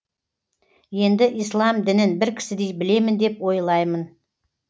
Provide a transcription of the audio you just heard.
енді ислам дінін бір кісідей білемін деп ойлаймын